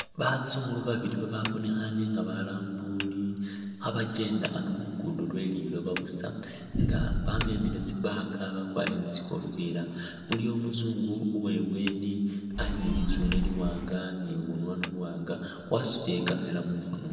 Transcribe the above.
Bazungu babili bababonekhane nga balambuli kha bakyenda ano khu luguudo lwe liloba busa nga bamemile tsi'bag bakwarire ni tsikofila, iliwo umuzungu uwe ibweeni ali ni litsune liwaanga ni bunwanwa buwaanga wasutile i'camera mukhono.